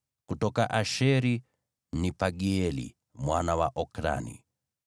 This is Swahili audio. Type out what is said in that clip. kutoka Asheri, ni Pagieli mwana wa Okrani;